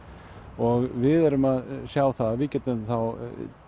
og við erum að sjá það að við getum þá